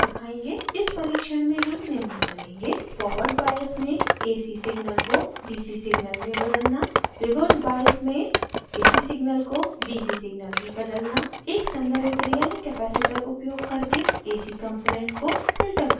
इस परिक्षण में हम निम्न करेंगे: